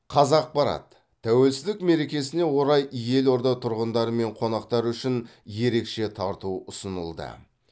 қазақпарат тәуелсіздік мерекесіне орай елорда тұрғындары мен қонақтары үшін ерекше тарту ұсынылды